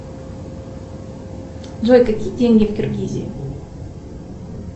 джой какие деньги в киргизии